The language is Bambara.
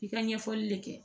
I ka ɲɛfɔli le kɛ